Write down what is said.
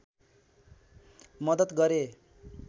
मदत गरे